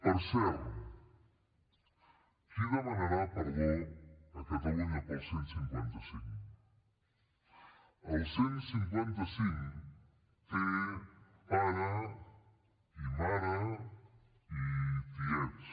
per cert qui demanarà perdó a catalunya pel cent i cinquanta cinc el cent i cinquanta cinc té pare i mare i tiets